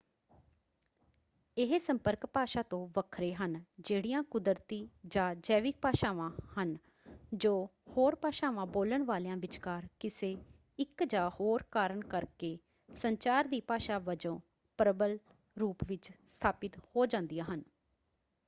ਇਹ ਸੰਪਰਕ ਭਾਸ਼ਾ ਤੋਂ ਵੱਖਰੇ ਹਨ ਜਿਹੜੀਆਂ ਕੁਦਰਤੀ ਜਾਂ ਜੈਵਿਕ ਭਾਸ਼ਾਵਾਂ ਹਨ ਜੋ ਹੋਰ ਭਾਸ਼ਾਵਾਂ ਬੋਲਣ ਵਾਲਿਆਂ ਵਿਚਕਾਰ ਕਿਸੇ ਇੱਕ ਜਾਂ ਹੋਰ ਕਾਰਨ ਕਰਕੇ ਸੰਚਾਰ ਦੀ ਭਾਸ਼ਾ ਵਜੋਂ ਪ੍ਰਬਲ ਰੂਪ ਵਿੱਚ ਸਥਾਪਿਤ ਹੋ ਜਾਂਦੀਆਂ ਹਨ।